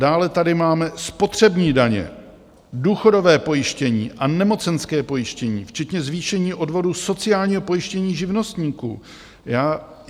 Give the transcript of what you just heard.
Dále tady máme spotřební daně, důchodové pojištění a nemocenské pojištění včetně zvýšení odvodů sociálního pojištění živnostníků.